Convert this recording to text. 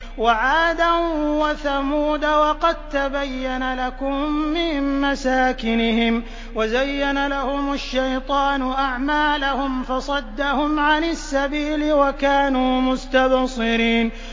وَعَادًا وَثَمُودَ وَقَد تَّبَيَّنَ لَكُم مِّن مَّسَاكِنِهِمْ ۖ وَزَيَّنَ لَهُمُ الشَّيْطَانُ أَعْمَالَهُمْ فَصَدَّهُمْ عَنِ السَّبِيلِ وَكَانُوا مُسْتَبْصِرِينَ